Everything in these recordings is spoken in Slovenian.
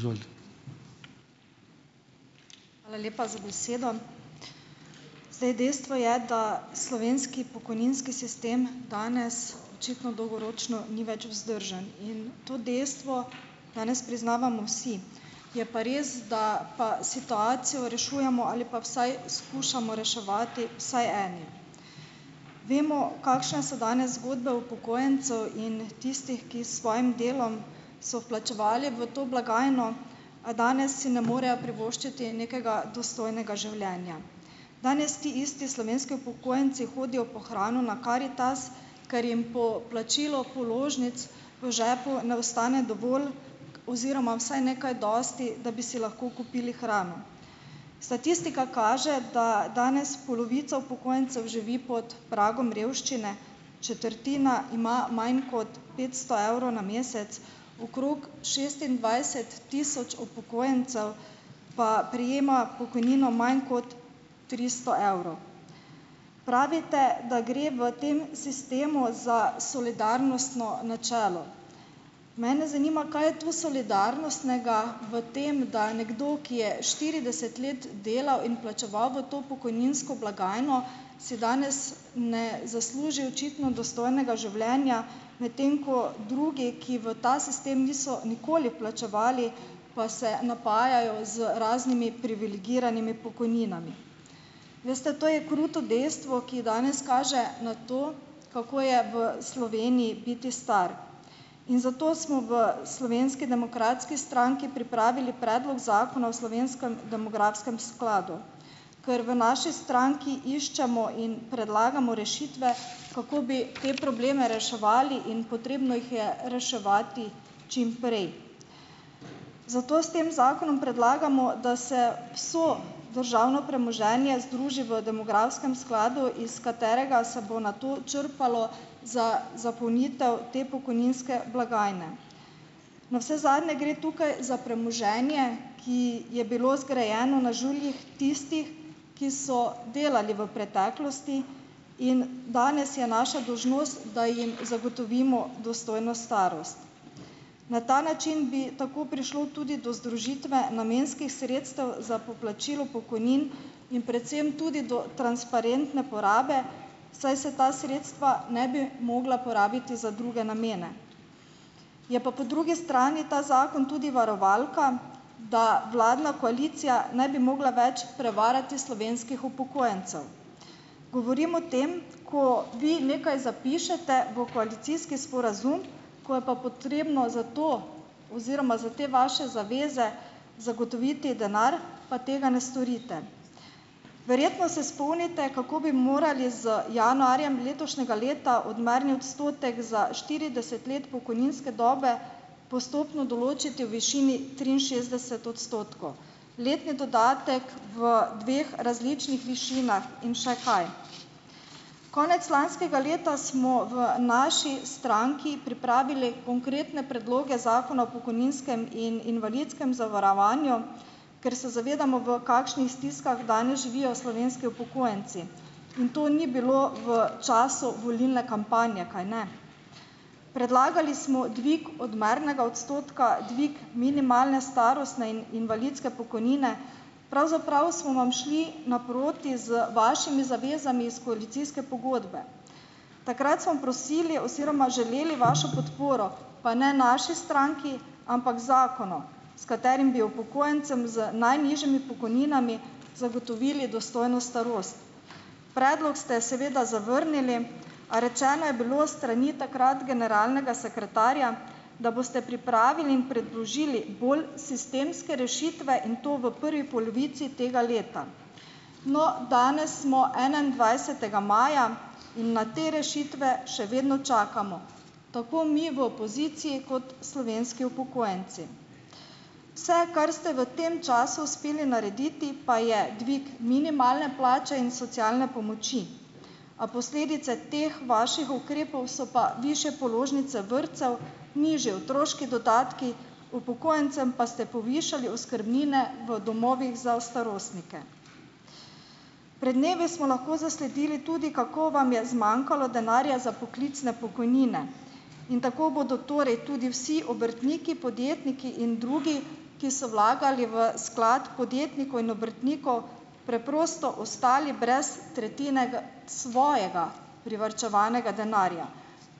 Izvolite. Hvala lepa za besedo. Zdaj, dejstvo je, da slovenski pokojninski sistem danes očitno dolgoročno ni več vzdržen, in to dejstvo danes priznavamo vsi, je pa res, da pa situacijo rešujemo ali pa vsaj skušamo reševati vsaj eni, vemo, kakšne so danes zgodbe upokojencev in tistih, ki s svojim delom so plačevali v to blagajno, a danes si ne morejo privoščiti nekega dostojnega življenja, danes ti isti slovenski upokojenci hodijo po hrano na Karitas, ker jim po plačilu položnic v žepu ne ostane dovolj oziroma vsaj ne kaj dosti, da bi si lahko kupili hrano, statistika kaže, da danes polovica upokojencev živi pod pragom revščine, četrtina ima manj kot petsto evrov na mesec, okrog šestindvajset tisoč upokojencev pa prejema pokojnino manj kot tristo evrov. Pravite, da gre v tem sistemu za solidarnostno načelo. Mene zanima, kaj je to solidarnostnega v tem, da je nekdo, ki je štirideset let delal in plačeval v to pokojninsko blagajno, si danes ne zasluži očitno dostojnega življenja, medtem ko drugi, ki v ta sistem niso nikoli plačevali, pa se napajajo z raznimi privilegiranimi pokojninami. Veste, to je kruto dejstvo, ki danes kaže na to, kako je v Sloveniji biti star, in zato smo v Slovenski demokratski stranki pripravili predlog zakona o slovenskem demografskem skladu, ker v naši stranki iščemo in predlagamo rešitve, kako bi te probleme reševali, in potrebno jih je reševati čimprej, zato s tem zakonom predlagamo, da se vse državno premoženje združi v demografskem skladu, iz katerega se bo nato črpalo za zapolnitev te pokojninske blagajne, navsezadnje gre tukaj za premoženje, ki je bilo zgrajeno na žuljih tistih, ki so delali v preteklosti, in danes je naša dolžnost, da jim zagotovimo dostojno starost. Na ta način bi tako prišlo tudi do združitve namenskih sredstev za poplačilo pokojnin in predvsem tudi do transparentne porabe, saj se ta sredstva ne bi mogla porabiti za druge namene, je pa po drugi strani ta zakon tudi varovalka, da vladna koalicija ne bi mogla več prevarati slovenskih upokojencev, govorim o tem, ko vi nekaj zapišete v koalicijski sporazum, ko je pa potrebno za to oziroma za te vaše zaveze zagotoviti denar, pa tega ne storite. Verjetno se spomnite, kako bi morali z januarjem letošnjega leta odmerni odstotek za štirideset let pokojninske dobe postopno določiti v višini triinšestdeset odstotkov, letni dodatek v dveh različnih višinah in še kaj. Konec lanskega leta smo v naši stranki pripravili konkretne predloge zakona o pokojninskem in invalidskem zavarovanju, ker se zavedamo, v kakšnih stiskah danes živijo slovenski upokojenci, in to ni bilo v času volilne kampanje, kajne. Predlagali smo dvig odmernega odstotka, dvig minimalne starostne in invalidske pokojnine, pravzaprav smo vam šli naproti z vašimi zavezami iz koalicijske pogodbe, takrat smo prosili oziroma želeli vašo podporo, pa ne naši stranki, ampak zakonom, s katerimi bi upokojencem z najnižjimi pokojninami zagotovili dostojno starost, predlog ste seveda zavrnili, a rečeno je bilo s strani takrat generalnega sekretarja, da boste pripravili in predložili bolj sistemske rešitve, in to v prvi polovici tega leta. No, danes smo enaindvajsetega maja, na te rešitve še vedno čakamo, tako mi v opoziciji kot slovenski upokojenci. Vse, kar ste v tem času uspeli narediti, pa je dvig minimalne plače in socialne pomoči, a posledice teh vaših ukrepov so pa višje položnice vrtcev, nižji otroški dodatki, upokojencem pa ste povišali oskrbnine v domovih za starostnike. Pred dnevi smo lahko zasledili tudi, kako vam je zmanjkalo denarja za poklicne pokojnine, in tako bodo torej tudi vsi obrtniki podjetniki in drugi, ki so vlagali v sklad podjetnikov in obrtnikov, preprosto ostali brez tretjine svojega privarčevanega denarja,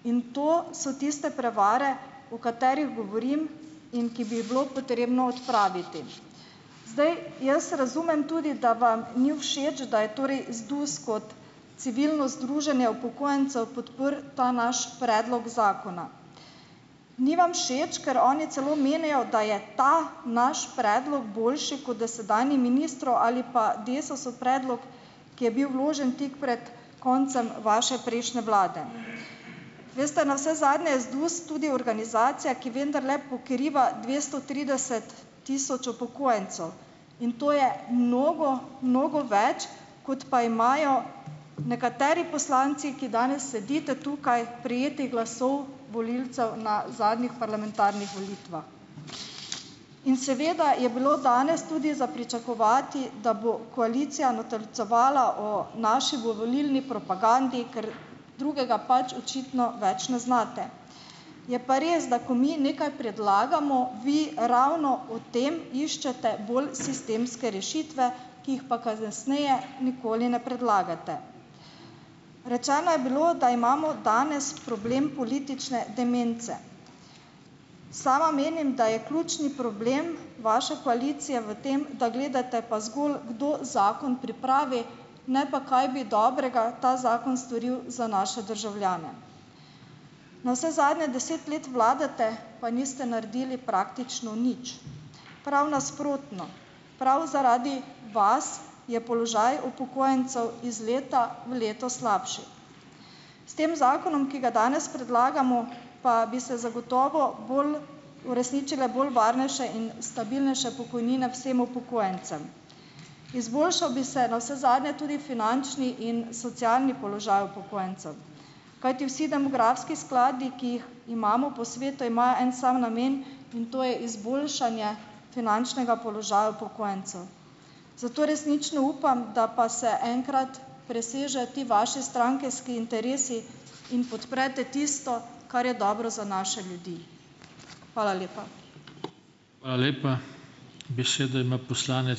in to so tiste prevare, o katerih govorim in ki bi jih bilo potrebno odpraviti, zdaj, jaz razumem tudi, da vam ni všeč, da je torej ZDUS kot civilno združenje upokojencev ta naš predlog zakona, ni vam všeč, ker oni celo menijo, da je ta naš predlog boljši kot dosedanji ministrov ali pa Desusov predlog, ki je bil vložen tik pred koncem vaše prejšnje vlade, veste, navsezadnje je ZDUS tudi organizacija, ki vendarle pokriva dvesto trideset tisoč upokojencev, in to je mnogo, mnogo več, kot pa imajo nekateri poslanci, ki danes sedite tukaj, prejetih glasov volilcev na zadnjih parlamentarnih volitvah. In seveda je bilo danes tudi za pričakovati, da bo koalicija natolcevala o naši volilni propagandi, ker drugega pač očitno več ne znate, je pa res, da ko mi nekaj predlagamo, vi ravno v tem iščete bolj sistemske rešitve, ki jih pa kasneje nikoli ne predlagate, rečeno je bilo, da imamo danes problem politične demence, sama menim, da je ključni problem vaše koalicije v tem, da gledate pa zgolj, kdo zakon pripravi, ne pa, kaj bi dobrega ta zakon storil za naše državljane, navsezadnje deset let vladate, pa niste naredili praktično nič, prav nasprotno, prav zaradi vas je položaj upokojencev iz leta v leto slabši, s tem zakonom, ki ga danes predlagamo, pa bi se zagotovo bolj uresničile bolj varnejše in stabilnejše pokojnine vsem upokojencem, izboljšal bi se navsezadnje tudi finančni in socialni položaj upokojencev, kajti vsi demografski skladi, ki jih imamo po svetu, ima en sam namen, in to je izboljšanje finančnega položaja upokojencev, zato resnično upam, da pa se enkrat presežejo ti vaši strankarski interesi in podprete tisto, kar je dobro za naše ljudi. Hvala lepa. Hvala lepa, besedo ima ...